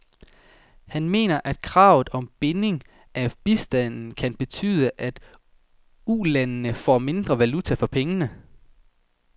Han mener, at kravet om binding af bistanden kan betyde, at ulandene får mindre valuta for pengene.